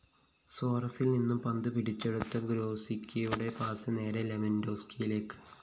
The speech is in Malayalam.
സോറസില്‍നിന്നും പന്ത് പിടിച്ചെടുത്ത ഗ്രോസിക്കിയുടെ പാസ്‌ നേരെ ലെവന്‍ഡോവ്‌സ്‌കിയിലേക്ക്